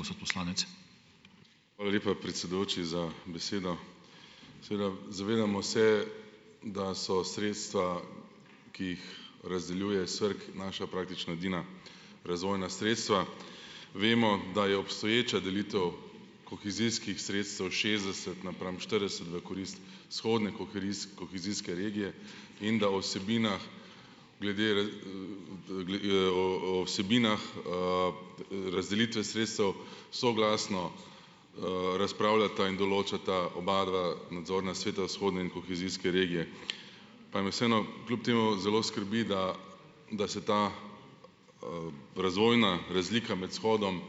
Hvala lepa, predsedujoči za besedo. Seveda zavedamo se, da so sredstva, ki jih razdeljuje SVRK naša praktično edina razvojna sredstva. Vemo, da je obstoječa delitev kohezijskih sredstev šestdeset napram štirideset v korist vzhodne kohezijske regije in da o vsebinah glede o o vsebinah, razdelitve sredstev soglasno, razpravljata in določata oba dva nadzorna sveta vzhodne in kohezijske regije. Pa me vseeno kljub temu zelo skrbi, da da se ta razvojna razlika med vzhodom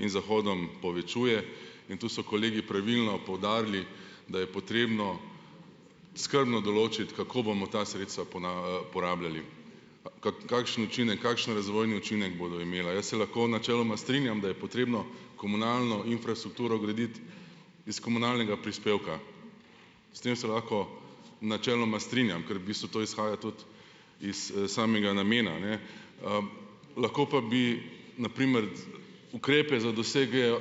in zahodom povečuje, in tu so kolegi pravilno poudarili, da je potrebno skrbno določiti, kako bomo ta sredstva porabljali, kakšne načine in kakšen razvojni učinek bodo imela. Jaz se lahko načeloma strinjam, da je potrebno komunalno infrastrukturo graditi iz komunalnega prispevka. S tem se lahko načeloma strinjam, ker v bistvu to izhaja tudi iz, samega namena, ne. Lahko pa bi na primer ukrepe za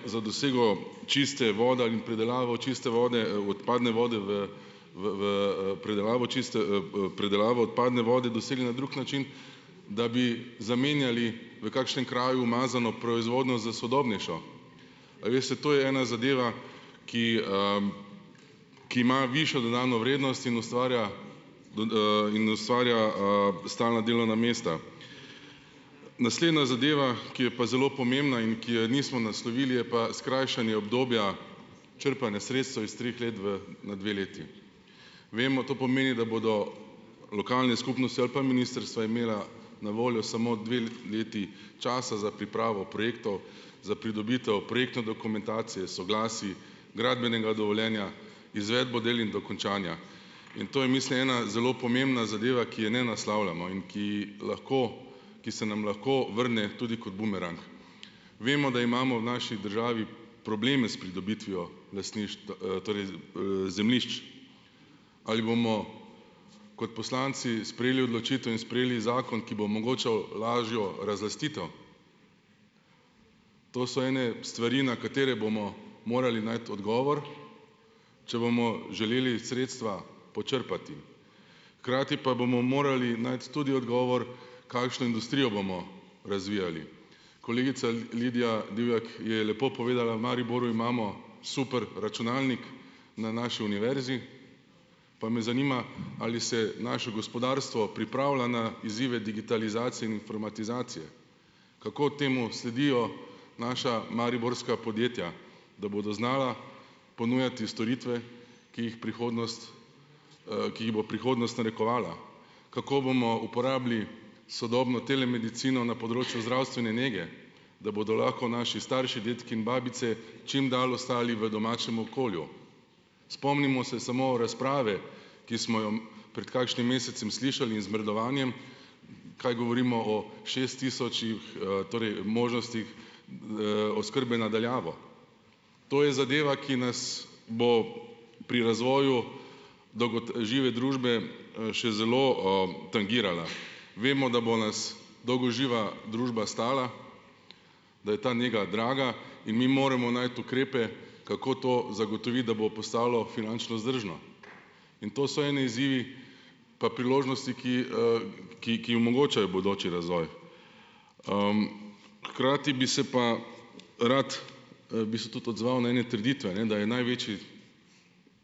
za dosego čiste vode ali pridelavo čiste vode, odpadne vode v v, v, predelavo čiste, predelavo odpadne vode dosegli na drug način, da bi zamenjali v kakšnem kraju umazano proizvodnjo za sodobnejšo. A veste, to je ena zadeva, ki, ki ima višjo dodano vrednost in ustvarja in ustvarja, stalna delovna mesta. Naslednja zadeva, ki je pa zelo pomembna in ki je nismo naslovili, je pa skrajšanje obdobja črpanja sredstev iz treh let, v na dve leti. Vemo, to pomeni, da bodo lokalne skupnosti ali pa ministrstva imela na voljo samo dve leti časa za pripravo projektov, za pridobitev projektne dokumentacije, soglasij, gradbenega dovoljenja, izvedbo del in dokončanja. In to je, mislim, ena zelo pomembna zadeva, ki je ne naslavljamo in ki lahko, ki se nam lahko vrne tudi kot bumerang. Vemo, da imamo v naši državi probleme s pridobitvijo torej, zemljišč. Ali bomo kot poslanci sprejeli odločitev in sprejeli zakon, ki bo omogočal lažjo razlastitev? To so ene stvari, na katere bomo morali najti odgovor, če bomo želeli sredstva počrpati. Hkrati pa bomo morali najti tudi odgovor, kakšno industrijo bomo razvijali. Kolegica Lidija Divjak je lepo povedala, v Mariboru imamo superračunalnik na naši univerzi, pa me zanima, ali se naše gospodarstvo pripravlja na izzive digitalizacije in informatizacije. Kako temu sledijo naša mariborska podjetja, da bodo znala ponujati storitve, ki jih prihodnost, ki jih bo prihodnost narekovala. Kako bomo uporabili sodobno telemedicino na področju zdravstvene nege, da bodo lahko naši starši, dedki in babice čim dalj ostali v domačem okolju? Spomnimo se samo razprave, ki smo jo pred kakšnim mesecem slišali, in zmrdovanjem, kaj govorimo o šest tisočih, torej možnostih, oskrbe na daljavo. To je zadeva, ki nas bo pri razvoju žive družbe, še zelo, tangirala. Vemo, da bo nas dolgoživa družba stala, da je ta nega draga, in mi moramo najti ukrepe, kako to zagotoviti, da bo postalo finančno vzdržno. In to so eni izzivi pa priložnosti, ki, ki, ki omogočajo bodoči razvoj. Hkrati bi se pa rad, bi se tudi odzval na ene trditve, ne, da je največji,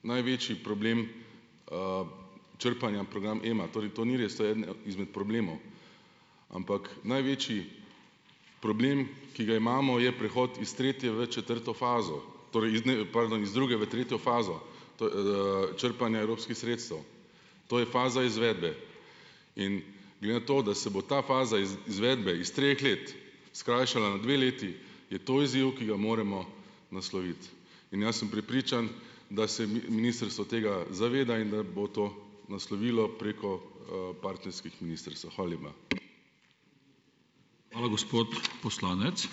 največji problem, črpanja, program Ema. Torej to ni res, to je eden izmed problemov, ampak največji problem, ki ga imamo, je prehod iz tretje v četrto fazo, torej, ne, pardon iz druge v tretjo fazo, to, črpanja evropskih sredstev. To je faza izvedbe. In glede na to, da se bo ta faza izvedbe iz treh let skrajšala na dve leti, je to izziv, ki ga moramo nasloviti. In jaz sem prepričan, da se ministrstvo tega zaveda in da bo to naslovilo preko, partnerskih ministrstev. Hvala lepa.